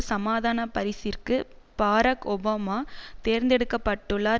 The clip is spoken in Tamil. சமாதான பரிசிற்கு பாரக் ஒபாமா தேர்ந்தெடுக்க பட்டுள்ளார்